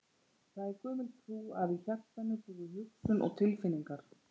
Það er gömul trú að í hjartanu búi hugsun og tilfinningar.